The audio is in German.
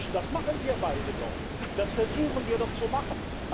Das machen wir beide doch, das versuchen wir doch zu machen.